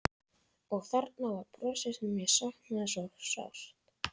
Og þarna var brosið sem ég hafði saknað svo sárt.